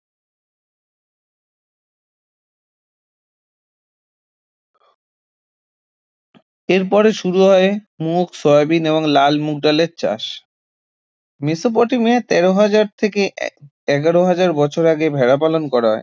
এরপরে শুরু হয় মুগ, সয়াবিন এবং লাল মুগ ডালের চাষ মেসোপটেমিয়া তের হাজার থেকে এ~ এগার হাজার বছর আগে ভেড়া পালন করা হয়